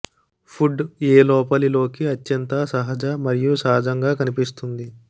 would ఏ లోపలి లోకి అత్యంత సహజ మరియు సహజంగా కనిపిస్తుంది